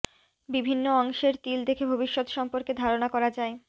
বিভিন্ন অংশের তিল দেখে ভবিষ্যৎ সম্পর্কে ধারণা করা যায়